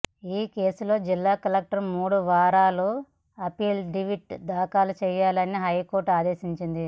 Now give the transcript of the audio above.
ఈ కేసులో జిల్లా కలెక్టర్ మూడు వారాల్లో అఫిడవిట్ దాఖలు చేయాలని హైకోర్టు ఆదేశించింది